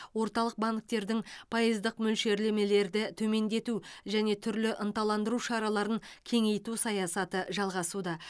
орталық банктердің пайыздық мөлшерлемелерді төмендету және түрлі ынталандыру шараларын кеңейту саясаты жалғасуда